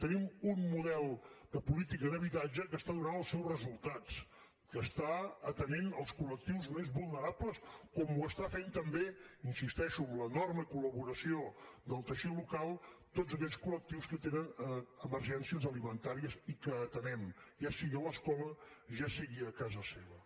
tenim un model de política d’habitatge que està donant els seus resultats que està atenent els col·lectius més vulnerables com ho estan fent també hi insisteixo amb l’enorme col·laboració del teixit local tots aquells col·lectius que tenen emergències alimentàries i que atenem ja sigui a l’escola ja sigui a casa seva